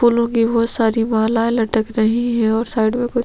फूलों की बहुत सारी माला लटक रही है ओर साइट मे कुछ --